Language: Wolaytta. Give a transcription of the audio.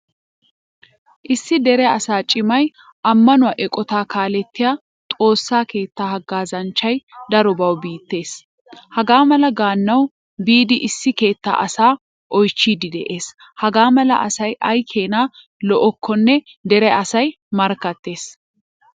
Issi dere asaa cimay, amanuwaa eqqotta kaalettiyaa xoossaa keettaa haggazanchchay darobawu biittees. Hagaamala gaanawu biidi issi keettaa asaa oychchidi de'ees. Hagaamala asaay aykkena lo'okkonne dere asay markkattees.